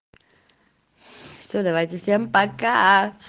все давайте всем пока